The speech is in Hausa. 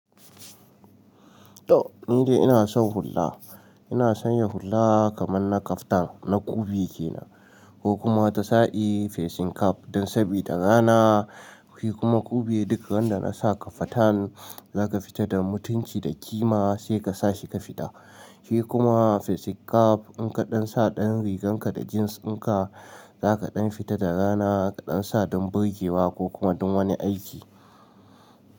To! Ni dai ina son hulla. Ina son yin hulla kaman na kaftan na kubewa kenan ko kuma wata sa i facing cap don sabida rana. Ki kuma kube duka wanda na sa ka fatan za ka fita da mutunci da kima sai ka sa shi ka fita. Ki kuma facing cap in ka dan sa dan rigan ka da jeans din ka za ka dan fita da rana ka dan sa don burge wa ko kuma don wani aiki.